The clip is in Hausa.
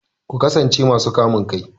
Ku kasance masu kamun kai!